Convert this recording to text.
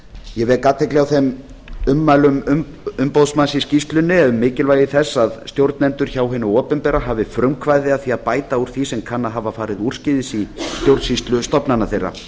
ég vek athygli á þeim ummælum umboðsmanns í skýrslunni um mikilvægi þess að stjórnendur hjá hinu opinbera hafi frumkvæði að því að bæta úr því sem kann að hafa farið úrskeiðis í stjórnsýslu stofnana þeirra